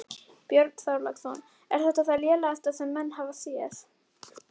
Björn Þorláksson: Er þetta það lélegasta sem menn hafa séð?